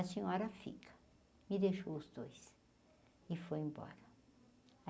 A senhora fica, me deixou os dois e foi embora.